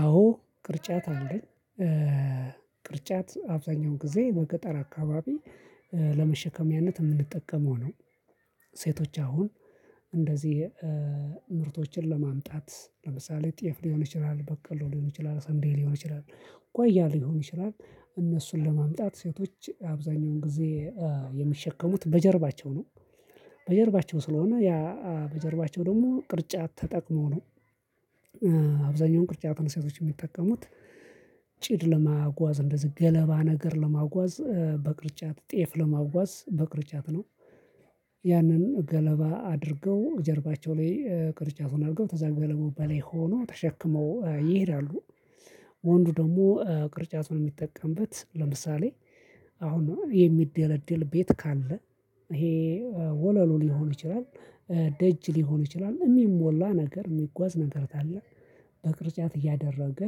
አዎ ቅርጫት አለኝ። ቅርጫት አብዛኛውን ጊዜ በገጠር አካባቢ ለመሸከሚያነት የምንጠቀመው ነው። ሴቶች አሁን እንደዚህ ምርቶችን ለማምጣት ለምሳሌ ጤፍ ሊሆን ይችላል በቀሎ ሊሆን ይችላል ሰንዴሊሆን ይችላል ጓያ ሊሆን ይችላል እነሱን ለማምጣት ሴቶች አብዛኛውን ጊዜ የሚሸከሙት በጀርባቸው ነው። በጀርባቸው ስለሆነ ያ በጀርባቸው ደግሞ ቅርጫት ተጠቅመው ነው። አብዛኛውን ቅርጫት እና ሴቶች የሚጠቀሙት። ጭድ ለማጓዝ እንደዚህ ገለባ ነገር ለማጓዝ በቅርጫት ጤፍ ለማዋስ በቅርጫት ነው። ያንን ገለባ አድርገው ጀርባቸው ላይ ቅርጫቱን አድርገው ተዘ ገለባው በላይ ሆኖ ተሸክመው ይሄዳሉ። ወንዱ ደግሞ ቅርጫቱን የሚጠቀምበት ለምሳሌ አሁን የሚደለድል ቤት ካለ ይሄ ወለሉ ሊሆን ይችላል። ደጅ ሊሆን ይችላል የሚሞላ ነገር የሚጓዝ ነገር ታለ በቅርጫት እያደረገ።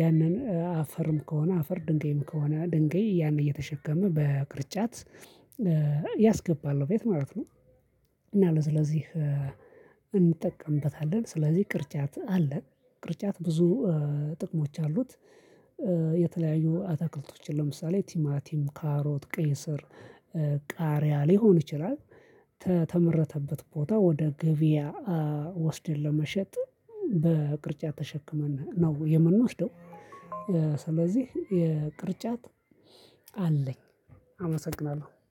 ያንን አፈርም ከሆነ አፈር ድንገይም ከሆነ ድንገይ ያንን እየተሸከመ በቅርጫት ያስገባል በየት ማለት ነው? እና ለዚህ ለዚህ እንጠቀምበታለን ስለዚህ ቅርጫት አለ ቅርጫት ብዙ ጥቅሞች አሉት። የተለያዩ አትክልቶችን ለምሳሌ ቲማቲም ካሮት ቄስር ቃሪያ ሊሆን ይችላል ተመረተበት ቦታ ወደ ገበያ ወስደን ለመሸጥ በቅርጫት ተሸክመን ነው የምንወስደው። ስለዚህ የቅርጫት አለኝ አመሰግናለሁ